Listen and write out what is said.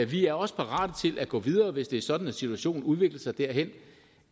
vi er også parate til at gå videre hvis det er sådan at situationen udvikler sig derhen